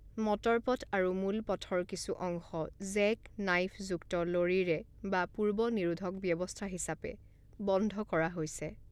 মটৰপথ আৰু মূল পথৰ কিছু অংশ জেক নাইফযুক্ত লৰিৰে বা পূৰ্ব নিৰোধক ব্যৱস্থা হিচাপে বন্ধ কৰা হৈছে।